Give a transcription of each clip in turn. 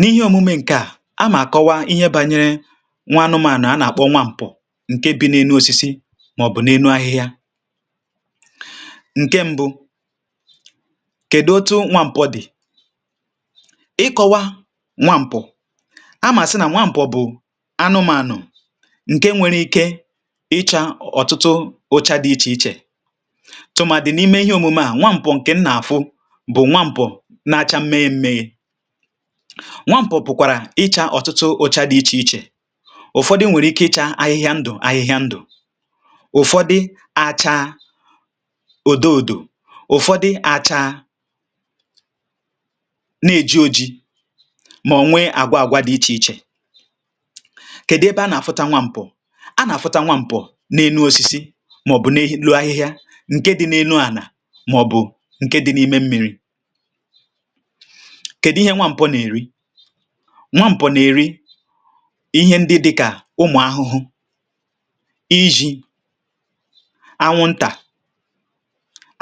n’ihe omume ṅ̀ke à á mà àkọwa ihe bȧnyere nwa anụmànụ̀ a nà-àkpọ nwa mpọ ṅ̀ke bi n’enu osisi màọ̀bụ̀ n’enu ahịhịa ṅ̀ke mbụ kèdụ otu nwa mpọ dì ịkọwa nwa ṁpọ a mà sị nà nwa mpọ bụ̀ anụmȧnụ̀ ṅ̀ke nwere ike ịchȧ ọ̀tụtụ ocha dị̇ ichè ichè tụ̀mà dì n’ime ihe omume à nwa mpọ ṅ̀ke ṅ̀à afụ bu nwa mpọ ṅ̀ke na acha Mmemme. Nwa mpọ pụ̀kwàrà ịchȧ ọ̀tụtụ ocha dị̇ ichè ichè ụ̀fọdụ nwèrè ike ịchȧ ahịhịa ndụ̀ ahịhịa ndụ̀ ụ̀fọdị acha ùdo ùdo ụ̀fọdị acha na-èji ojii mà nwee àgwa àgwa dị̇ ichè ichè kèdụ ebe a nà-àfụta nwȧ mpọ a nà-àfụta nwȧ mpọ n’enu osisi màọ̀bụ̀ n’enu ahịhịa ǹke dị̇ n’enu ànà màọ̀bụ̀ ǹke dị̇ n’ime mmi̇ri. Kedu ihe nwa mpọ na-eri. nwa mpọ n'eri ihe ndị dịkà ụmụ̀ ahụhụ, iji̇, anwụntà,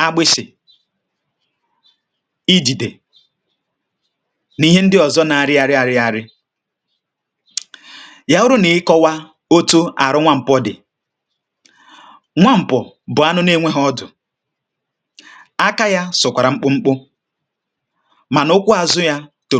agbịsị̀, ijìdè nà ihe ndị ọ̀zọ na arịarị àrịarị yà rụụ nà ịkọwà otu àrụ nwa mpọ dị̀ nwa ṁpụ̀ bụ̀ anụ nȧ-enweghị̇ ọdụ̀ aka yȧ sụ̀kwàrà mkpụmkpụ mànà ụkwụ azụ ya tòrò